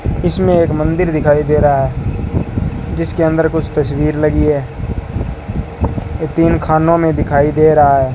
इसमें एक मंदिर दिखाई दे रहा है जिसके अंदर कुछ तस्वीर लगी है ये तीन खानों में दिखाई दे रहा है।